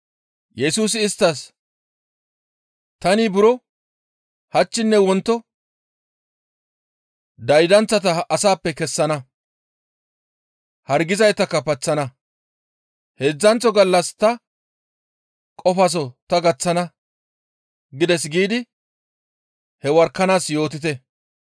Yesusi isttas, «Tani buro, ‹Hachchinne wonto daydanththata asappe kessana; hargizaytakka paththana; heedzdzanththo gallas ta qofaso ta gaththana› gides giidi he worakanaas yootite.